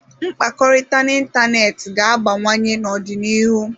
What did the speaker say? Mkpakọrịta n'ịntanetị ga-abawanye n'ọdịnihu.